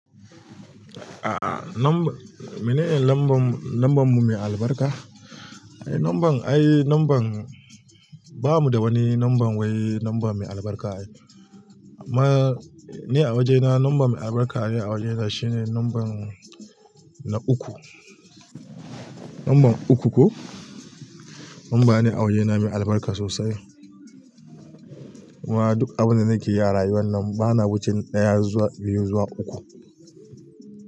A'a, num- mene ne lambam, lambam mu mai albarka? Ai nummbamn, ai numban, ba mu da wani numban wai namba mai albarka. Amma ni a wajena namba mai albarka ni a wajena shine nnamban na uku. Namban uku ko? Namba ne a wajena mai albarka sosai. Kuma duk abin da nake yi a rayuwa nan bana wuce na ɗaya zuwa biyu zuwa uku.